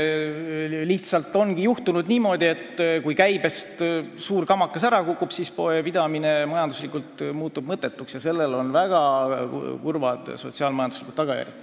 Lihtsalt ongi niimoodi, et kui käibest suur kamakas ära kukub, siis muutub poepidamine majanduslikult mõttetuks ja sellel on väga kurvad sotsiaal-majanduslikud tagajärjed.